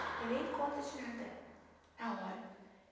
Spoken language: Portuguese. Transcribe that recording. Levei em conta de nada na hora.